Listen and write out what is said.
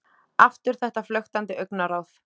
Aftur þetta flöktandi augnaráð.